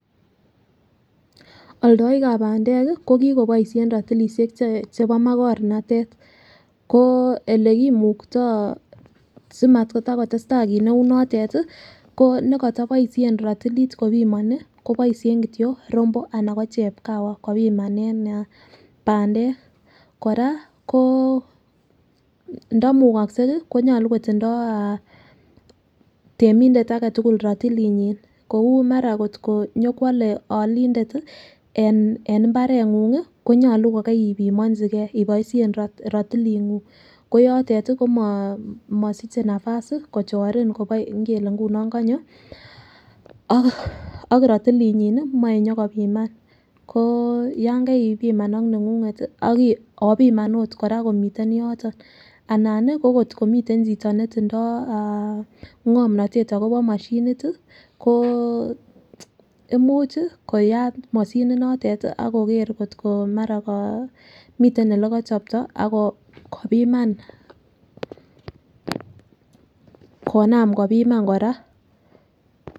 Oldoik kab pandek kii ko kikoboishen rotilishek che chebo makornatet ko olekimukto simatakotesta kit neu notet tii ko nekoto boishet rotilit kopomoni koboishen kityok rombo anan ko chepkawa kopimanen pandek. Koraa ko ndomukoksei konyolu kotindoi ah temindet aketukul rotilinyin kou mara kotko nyokwole olindet tii en imbarengungi konyolu ko koribimonchigee iboishen rotilingung. Ko yotet tii komosiche nafasi kochorin Kobo ngele nguno konyo ak rotilinyin nii moi nyokopiman ko yon keipiaman ak nengunget ak opiman okot komiten yoton anan nii ko kotko miten chito netindo ah ngomnotet akobo moshinit tii koo imuchi koyat moshinit notet tii ak koker kotko mara ko miten olekichooto akopiman konam kopimani Koraa.